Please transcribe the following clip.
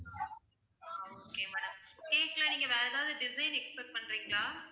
ஆஹ் okay madam cake ல நீங்க வேற ஏதாவது design expect பண்றீங்களா?